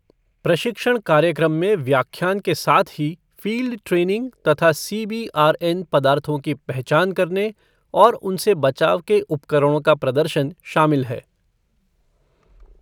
प्रशिक्षण कार्यक्रम में व्याख्यान के साथ ही फील्ड ट्रेनिंग तथा सीबीआरएन पदार्थों की पहचान करने और उनसे बचाव के उपकरणों का प्रदर्शन शामिल है।